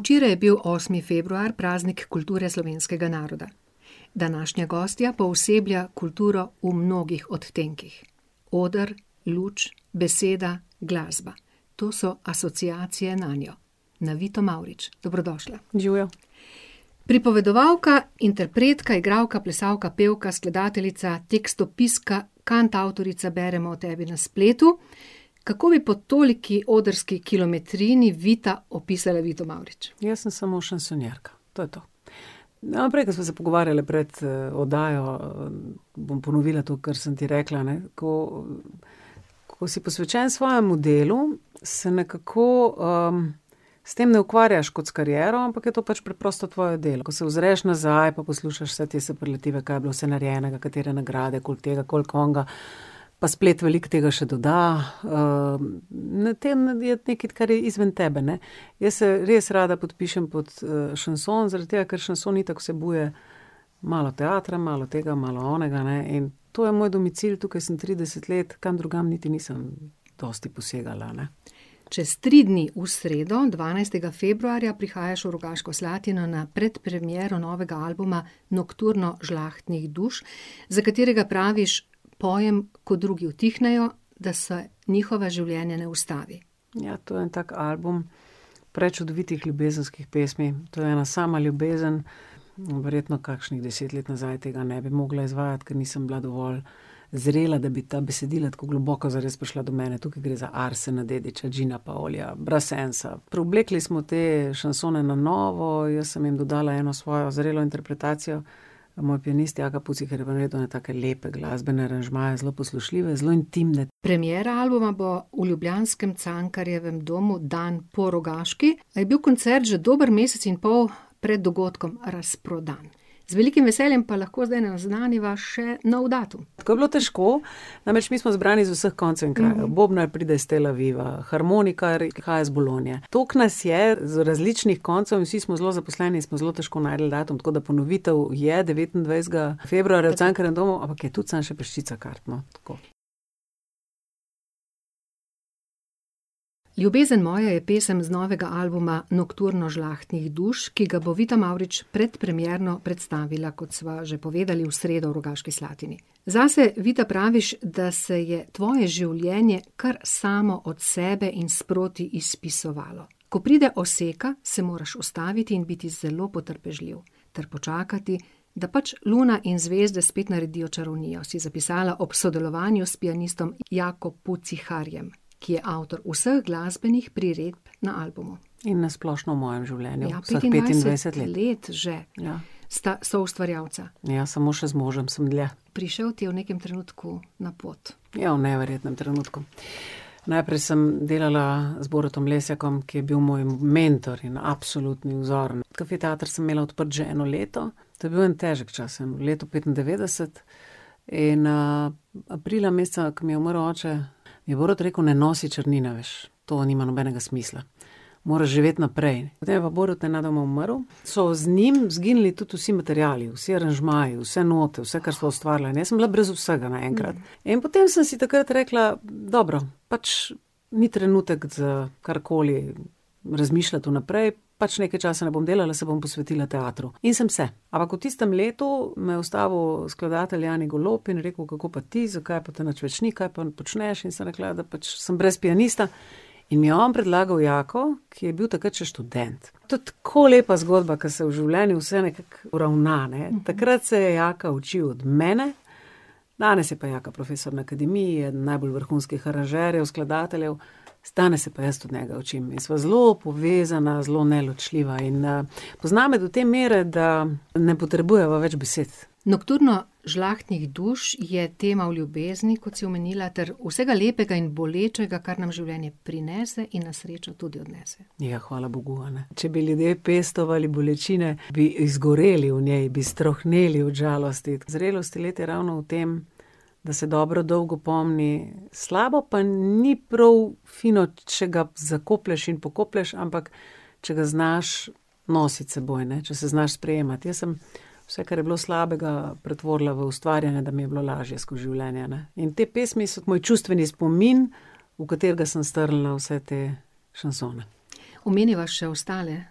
Včeraj je bil osmi februar, praznik kulture slovenskega naroda. Današnja gostja pooseblja kulturo v mnogih odtenkih. Oder, luč, beseda, glasba. To so asociacije nanjo. Na Vito Mavrič. Dobrodošla. Živjo. Pripovedovalka, interpretka, igralka, plesalka, pevka, skladateljica, tekstopiska, kantavtorica, beremo o tebi na spletu. Kako bi po toliki odrski kilometrini, Vita, opisali Vito Mavrič? Jaz sem samo šansonjerka. To je to. No, prej, ko sva se pogovarjale pred, oddajo, bom ponovila to, kar sem ti rekla, ne, ko, ko si posvečen svojemu delu, se nekako, s tem ne ukvarjaš kot s kariero, ampak je to pač preprosto tvoje delo. Ko se ozreš nazaj pa poslušaš vse te superlative, kaj je bilo vse narejenega, katere nagrade, koliko tega, koliko onega, pa splet veliko tega še doda, na tem je nekaj, kar je izven tebe, ne. Jaz se res rada podpišem pod, šanson, zaradi tega, ker šanson itak vsebuje malo teatra, malo tega, malo onega, ne, in to je moj domicil, tukaj sem trideset let, kam drugam niti nisem dosti posegala, ne. Čez tri dni, v sredo, dvanajstega februarja, prihajaš v Rogaško Slatino na predpremiero novega albuma Nokturno žlahtnih duš, za katerega praviš: "Pojem, ko drugi utihnejo, da se njihova življenja ne ustavijo." Ja, to je en tak album prečudovitih ljubezenskih pesmi, to je ena sama ljubezen in verjetno kakšnih deset let nazaj tega ne bi mogla izvajati, ker nisem bila dovolj zrela, da bi ta besedila tako globoko zares prišla do mene, tukaj gre za Arsena Dedića, Džina pa Olija, Brassensa. Preoblekli smo te šansone na novo, jaz sem jim dodala eno svojo zrelo interpretacijo, moj pianist Jaka Pucihar je pa naredil take lepe glasbene aranžmaje, zelo poslušljive, zelo intimne. Premiera albuma bo v ljubljanskem Cankarjevem domu dan po Rogaški, a je bil koncert že dober mesec in pol pred dogodkom razprodan. Z velikim veseljem pa lahko zdaj naznaniva še nov datum. Tako je bilo težko, namreč mi smo zbrani z vseh koncev in krajev. Bobnar pride iz Tel Aviva, harmonikar prihaja iz Bologne, toliko nas je z različnih koncev in vsi smo zelo zaposleni, smo zelo težko našli datum, tako da ponovitev je devetindvajsetega februarja v Cankarjevem domu, ampak je tudi samo še peščica kart, no, tako. Ljubezen moja je pesem z novega albuma Nokturno žlahtnih duš, ki ga bo Vita Mavrič predpremierno predstavila, kot sva že povedali, v sredo v Rogaški Slatini. Zase, Vita, praviš, da se je tvoje življenje kar samo od sebe in sproti izpisovalo. Ko pride oseka, se moraš ustaviti in biti zelo potrpežljiv ter počakati, da pač luna in zvezde spet naredijo čarovnijo, si zapisala ob sodelovanju s pianistom Jako Puciharjem, ki je avtor vseh glasbenih priredb na albumu. In na splošno v mojem življenju vseh petindvajset let. Petindvajset let že. Ja. Sta soustvarjalca. Ja, samo še z možem sem dlje. Prišel ti je v nekam trenutku na pot. Ja, v neverjetnem trenutku. Najprej sem delala z Borutom Lesjakom, ki je bil moj mentor in absolutni vzor, Kafe teater sem imela odprt že eno leto, to je bil en težek čas, leto petindevetdeset, in, aprila meseca, ke mi je umrl oče, je Borut rekel: "Ne nosi črnine več." To nima nobenega smisla. Moraš živeti naprej. Potem je pa Borut nenadoma umrl, so z njim izginili tudi vsi materiali, vsi aranžmaji, vse note, vse, kar sva ustvarila, in jaz sem bila brez vsega naenkrat. In potem sem si takrat rekla: "Dobro, pač ni trenutek za karkoli razmišljati v naprej, pač nekaj časa ne bom delala, se bom posvetila teatru." In sem se. Ampak v tistem letu me je ustavil skladatelj Jani Golob in je rekel: "Kako pa ti, zakaj pa te nič več ni, kaj pa počneš?" In sem rekla, ja, da pač sem brez pianista. In mi je on predlagal Jako, ki je bil takrat še študent. To je tako lepa zgodba, ke se v življenju vse nekako uravna, ne. Takrat se je Jaka učil od mene, danes je pa Jaka profesor na akademiji, en najbolj vrhunskih aranžerjev, skladateljev, danes se pa jaz od njega učim. In sva zelo povezana, zelo neločljiva, in, pozna me do te mere, da ne potrebujeva več besed. Nokturno žlahtnih duš je tema o ljubezni, kot si omenila, ter vsega lepega in bolečega, kar nam življenje prinese in na srečo tudi odnese. Ja, hvala bogu, a ne. Če bi ljudje pestovali bolečine, bi izgoreli v njej, bi strohneli od žalosti. Zrelost let je ravno v tem, da se dobro dolgo pomni, slabo pa ni prav fino, če ga zakoplješ in pokoplješ, ampak če ga znaš nositi s seboj, ne. Če se znaš sprejemati. Jaz sem vse, kar je bilo slabega, pretvorila v ustvarjanje, da mi je bilo lažje skozi življenje, ne. In te pesmi so moj čustveni spomin, v katerega sem strla vse te šansone. Omeniva še ostale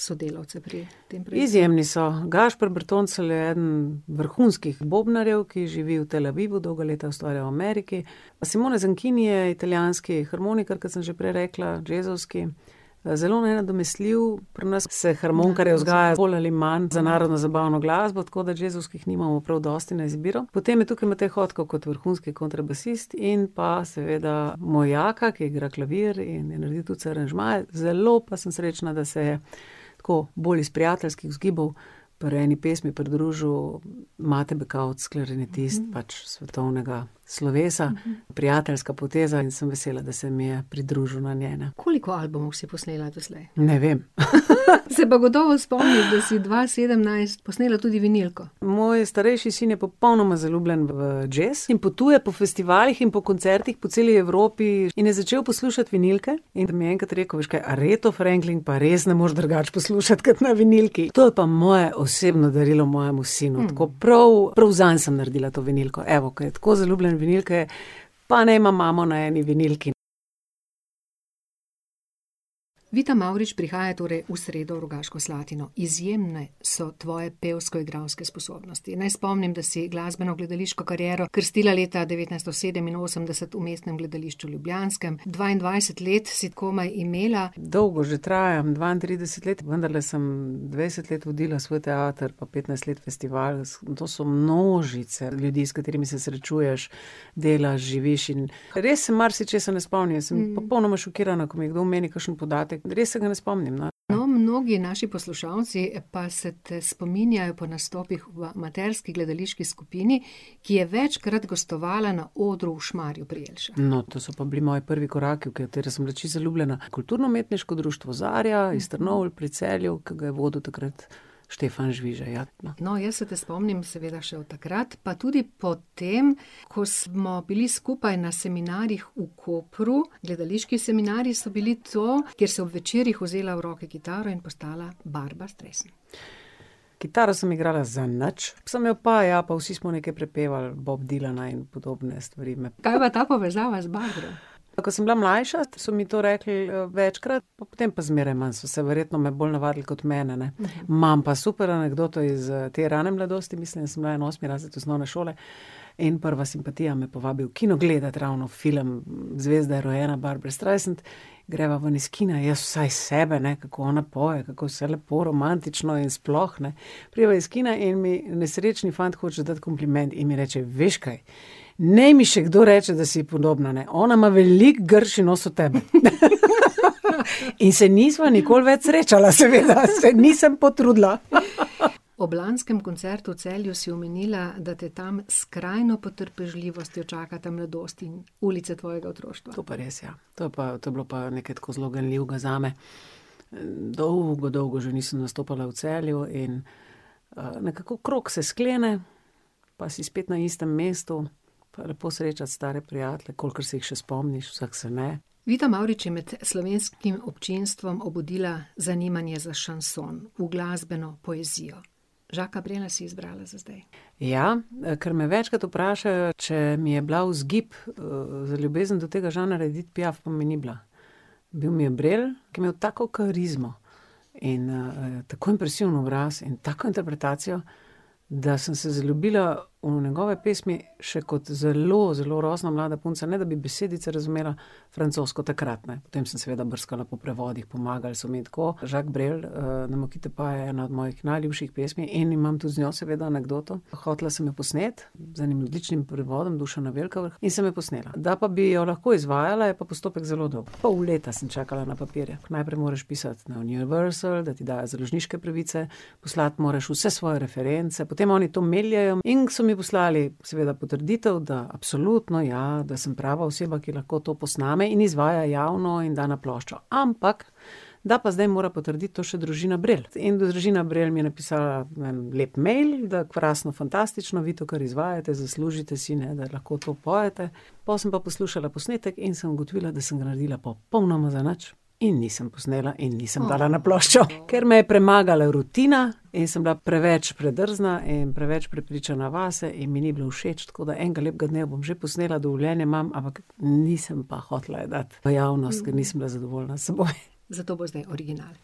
sodelavce pri tem Izjemni so. Gašper Bertoncelj je eden vrhunskih bobnarjev, ki živi v Tel Avivu, dolga leta je ustvarjal v Ameriki, Simone Zankini je italijanski harmonikar, ko sem že prej rekla, džezovski, zelo nenadomestljiv, pri nas se harmonikarje vzgaja bolj ali manj za narodnozabavno glasbo, tako da džezovskih nimamo prav dosti na izbiro. Potem je tukaj Matej Hotko kot vrhunski kontrabasist in pa seveda moj Jaka, ki igra klavir in je naredil vse aranžmaje, zelo pa sem srečna, da se je tako, bolj iz prijateljskih vzgibov, pri eni pesmi pridružil Mate Bekavc, klarinetist pač svetovnega slovesa. Prijateljska poteza, in sem vesela, da se mi je pridružil na njej. Koliko albumov si posnela doslej? Ne vem. Se pa gotovo spomniš, da si dva sedemnajst posnela tudi vinilko. Moj starejši sin je popolnoma zaljubljen v džez in potuje po festivalih in po koncertih po celi Evropi in je začel poslušati vinilke in mi je enkrat rekel: "A veš kaj, Aretho Franklin pa res ne moreš drugače poslušati kot na vinilki." To je pa moje osebno darilo mojemu sinu, tako prav, prav zanj sem naredila to vinilko, evo, ker je tako zaljubljen v vinilke, pa naj ima imamo na eni vinilki. Vita Mavrič prihaja torej v sredo v Rogaško Slatino. Izjemne so tvoje pevsko-igralske sposobnosti, naj spomnim, da si glasbeno-gledališko kariero krstila leta devetnajststo sedeminosemdeset v Mestnem gledališču ljubljanskem, dvaindvajset let si komaj imela. Dolgo že traja, dvaintrideset let, vendarle sem dvajset let vodila svoj teater pa petnajst let festival. In to so množice ljudi, s katerimi se srečuješ, delaš, živiš in ... Res, marsičesa ne spomnim, sem popolnoma šokirana, ko mi kdo omeni kakšen podatek, res se ga ne spomnim, no. Prav mnogi naši poslušalci pa se te spominjajo po nastopih v amaterski gledališki skupini, ki je večkrat gostovala na odru v Šmarju pri Jelšah. No, to so pa bili moji prvi koraki, v katere sem bila čisto zaljubljena, kulturno-umetniško društvo Zarja iz Trnovelj pri Celju, ki ga je vodil takrat Štefan Žvižej, ja. No, jaz se te spomnim seveda še od takrat, pa tudi potem, ko smo bili skupaj na seminarjih v Kopru, gledališki seminarji so bili to, kjer si ob večerih vzela v roke kitaro in postala Barbra Streisand. Kitaro sem igrala zadnjič, sem jo pa jo, pa vsi smo nekaj prepevali Boba Dylana in podobne stvari. Kaj pa ta povezava z Barbro? Ko sem bila mlajša, so mi to rekli, večkrat, potem pa zmeraj manj, so se verjetno me bolj navadili kot mene, ne. Imam pa super anekdoto iz, te rane mladosti, mislim, da sem bila en osmi razred osnovne šole, in prva simpatija me povabi v kino gledat ravno film Zvezda je rojena, Barbra Streisand, greva ven iz kina, jaz vsa iz sebe, ne, kako ona poje, kako vse lepo romantično in sploh, ne, prideva iz kina in mi nesrečni fant hoče dati kompliment in mi reče: "Veš kaj, naj mi še kdo reče, da si ji podobna, ne. Ona ima veliko grši nos od tebe." In se nisva nikoli več srečala, seveda , se nisem potrudila. Ob lanskem koncertu v Celju si omenila, da te tam s skrajno potrpežljivostjo čakata mladost in ulica tvojega otroštva. To pa res, ja. To je pa, to je bilo pa nekaj tako zelo ganljivega zame. dolgo, dolgo že nisem nastopala v Celju in, nekako krog se sklene pa si spet na istem mestu. lepo srečati stare prijatelje, kolikor se jih še spomniš, vseh se ne. Vita Mavrič je med slovenskim občinstvom obudila zanimanje za šanson, uglasbeno poezijo. Jacquesa Brela si izbrala za zdaj. Ja, kar me večkrat vprašajo, če mi je bila vzgib, za ljubezen do tega žanra Édith Piaf, pa mi ni bila. Bil mi je Brel, ki je imel tako karizmo. In, tako impresiven obraz in tako interpretacijo, da sem se zaljubila v njegove pesmi še kot zelo, zelo rosno mlada punca, ne da bi besedice razumela, francosko takrat, ne. Potem sem seveda brskala po prevodih, pomagali so mi. Tako, Jacques Brel, Ne me quitte pas , je pa ena mojih najljubših pesmi in imam tudi z njo seveda anekdoto, hotela sem jo posneti, z enim odličnim prevodom Dušana Velkavrha, in sem jo posnela. Da pa bi jo lahko izvajala, je pa postopek zelo dolg. Pol leta sem čakala na papirje, najprej moraš pisati na Universal, da ti dajo založniške pravice, poslati moraš vse svoje reference, potem oni to meljejo, in ke so mi poslali seveda potrditev, da absolutno, ja, da sem prava oseba, ki lahko to posname in izvaja javno in da na ploščo. Ampak da pa zdaj mora to potrditi še družina Brel. In družina Brel mi je napisala, ne vem, lep mail, da krasno, fantastično, vi to kar izvajajte, zaslužite si, ne, da lahko to pojete, pol sem pa poslušala posnetek in sem ugotovila, da sem ga naredila popolnoma zanič. In nisem posnela in nisem dala na ploščo. Ker me je premagala rutina in sem bila preveč predrzna in preveč prepričana vase in mi ni bilo všeč, tako da enega lepega dne jo bom že posnela, dovoljenje imam, ampak nisem pa hotela je dati v javnost, ker nisem bila zadovoljna s seboj. Zato bo zdaj original.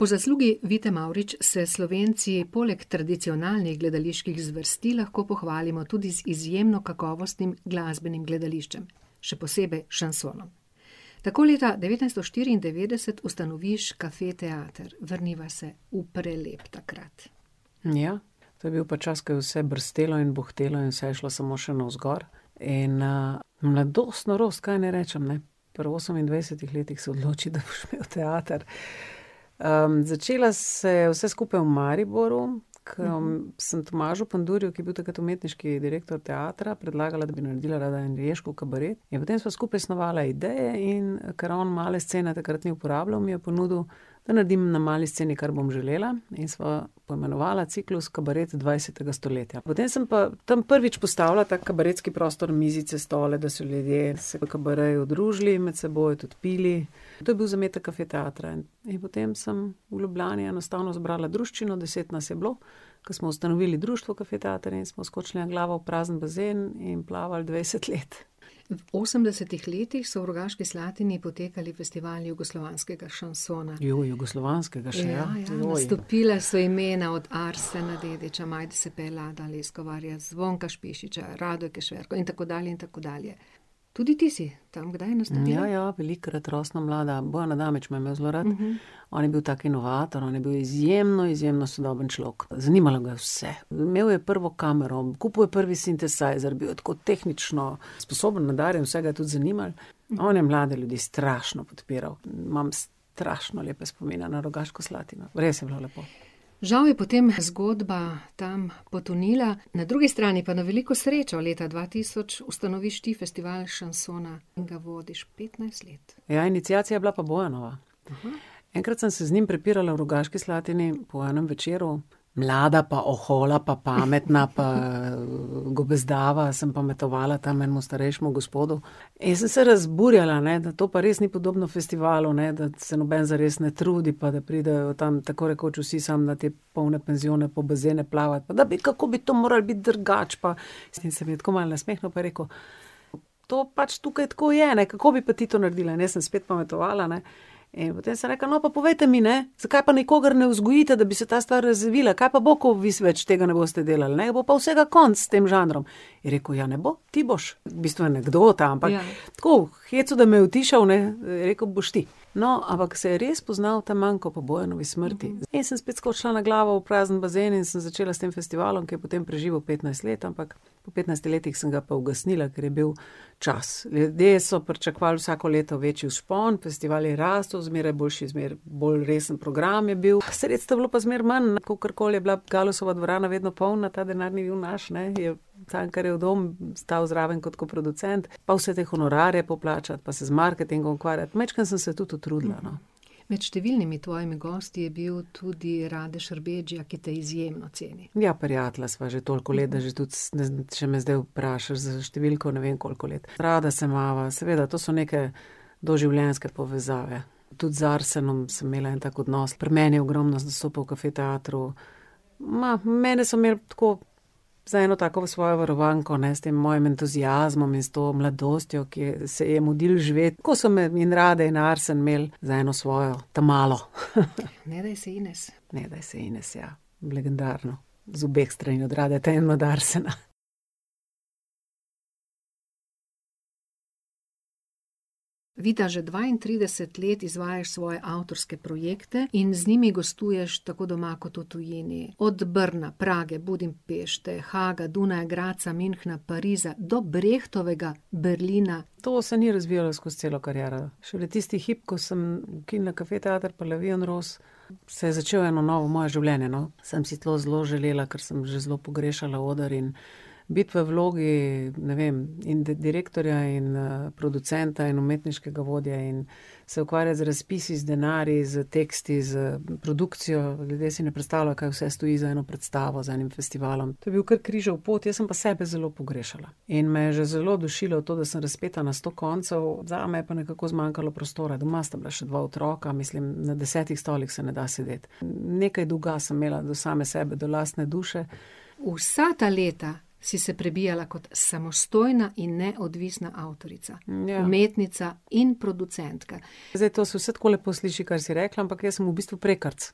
Po zaslugi Vidite Mavrič se Slovenci poleg tradicionalnih gledaliških zvrsti lahko pohvalimo tudi z izjemno kakovostnim glasbenim gledališčem, še posebej šansonom. Tako leta devetnajststo štiriindevetdeset ustanoviš Kafe teater. Vrniva se v prelep takrat. Ja. To je bil pa čas, ko je vse brstelo in buhtelo in vse je šlo samo še navzgor in, mladost - norost, kaj naj rečem, ne. Pri osemindvajsetih letih se odloči, da boš imel teater. začelo se je vse skupaj v Mariboru, ke sem Tomažu Pandurju, ki je bil takrat umetniški direktor teatra, predlagala, da bi naredila rada angleško kabaret, in potem sva skupaj snovala ideje, in ker on male scene takrat ni uporabljal, mi je ponudil, da naredim na mali sceni, kar bom želela, in sva to imenovala Ciklus kabaret dvajsetega stoletja. Potem sem pa tam prvič postavila ta kabaretski prostor, mizice, stole, da so ljudje se v kabaretu družili med seboj, tudi pili, to je bil zametek Kafe teatra. In potem sem v Ljubljani enostavno zbrala druščino, deset nas je bilo, ko smo ustanovili društvo Kafe teater in smo skočili na glavo v prazen bazen in plavali dvajset let. V osemdesetih letih so v Rogaški Slatini potekali festivali jugoslovanskega šansona. jugoslovanskega še, ja. Ja, ja. Joj. Nastopila so imena od Arsena Dedića, Majde Sepe, Lada Leskovarja, Zvonka Špišića, Rado Kešerko in tako dalje, in tako dalje. Tudi ti si tam kdaj nastopila? Ja, ja, velikokrat rosno mlada. Bojan Adamič me je imel zelo rad. On je bil tak inovator, on je bil izjemen, izjemno sodoben človek. Zanimalo ga je vse. Imel je prvo kamero, kupil je prvi sintesajzer, bil je tako tehnično sposoben, nadarjen, vse ga je tudi zanimalo, on je mlade ljudi strašno podpiral. Imam strašno lepe spomine na Rogaško Slatino. Res je bilo lepo. Žal je potem zgodba tam potonila, na drugi strani pa na veliko srečo, leta dva tisoč ustanoviš ti festival šansona in ga vodiš petnajst let. Ja, iniciacija je bila pa Bojanova. Enkrat sem se z njim prepirala v Rogaški Slatini, po enem večeru, mlada pa ohola pa pametna pa, gobezdava sem pametovala tam enemu starejšemu gospodu, in sem se razburjala, ne, da to pa res ni podobno festivalu, ne, da se noben zares ne trudi, pa da pridejo tam tako rekoč vsi samo na te polne penzione pa v bazene plavat, pa da bi, kako bi to moralo biti drugače pa ... In se mi je tako malo nasmehnil pa rekel: "To pač tukaj tako je, ne, kako bi pa ti to naredila?" In jaz sem spet pametovala, ne, in potem sem rekla: "No, pa povejte mi, ne, zakaj pa nikogar ne vzgojite, da bi se ta stvar razvila, kaj pa bo, ko vi več tega ne boste delal, ne, bo pa vsega konec s tem žanrom." Je rekel: "Ja ne bo, ti boš." V bistvu anekdota, ampak tako, v hecu, da me je utišal, ne, je rekel: "Boš ti." No, ampak se je res poznali ta manko po Bojanovi smrti. In sem spet skočila na glavo v prazen bazen in sem začela s tem festivalom, ker je potem preživel petnajst let, ampak po petnajstih letih sem ga pa ugasnila, ker je bil čas. Ljudje so pričakovali vsako leto večji vzpon, festival je rastel, zmeraj boljši in zmeraj bolj resen program je bil, sredstev je bilo pa zmeraj manj, ne, kakorkoli je bila Galusova dvorana vedno polna, ta denar ni bil naš, ne, je Cankarjev dom stal zraven kot koproducent. Pa vse te honorarje poplačati pa se z marketingom ukvarjati, majčkeno sem se tudi utrudila, no. Med številnimi tvojimi gosti je bil tudi Rade Šarbedžija, ki te izjemno ceni. Ja, prijatelja sva že toliko let, da že tudi če me zdaj vprašaš za številko, ne vem, koliko let. Rada se imava, seveda, to se neke doživljenjske povezave. Tudi z Arsenom sem imela en tak odnos, pri meni je ogromno nastopil v Kafe teatru, ma, mene so imeli tako za eno tako svojo varovanko, ne, s tem mojim entuziazmom in s to mladostjo, ki se ji je mudilo živeti. Tako so me in Rade in Arsen imeli za eno svojo ta malo. Ne daj se Ines. Ne daj se Ines, ja. Legendarno. Z obeh strani, od Radeta in od Arsena. Vita, že dvaintrideset let izvajaš svoje avtorske projekte in z njimi gostuješ tako doma kot v tujini. Od Brna, Prage, Budimpešte, Haaga, Dunaja, Gradca, Münchna, Pariza do Brechtovega Berlina. To se ni razvijalo skoz celo kariero. Šele tisti hip, ko sem ukinila Kafe teater pa La vie en rose, se je začelo eno novo moje življenje, no. Sem si to zelo želela, ker sem že zelo pogrešala oder, in biti v vlogi, ne vem, in direktorja in, producenta in umetniškega vodja in se ukvarjati z razpisi, z denarji, s teksti, s produkcijo, ljudje si ne predstavljajo, kaj vse stoji za eno predstavo, za enim festivalom. To je bil kar križev pot, jaz sem pa sebe zelo pogrešala. In me je že zelo dušilo to, da sem razpeta na sto koncev, zame je pa nekako zmanjkalo prostora, doma sta bila še dva otroka, mislim, na desetih stolih se ne da sedeti. nekaj dolga sem imela do same sebe, do lastne duše. Vsa ta leta si se prebijala kot samostojna in neodvisna avtorica. ja. Umetnica in producentka. Zdaj to se vse tako lepo sliši, kar si rekla, ampak jaz sem v bistvu prekarec.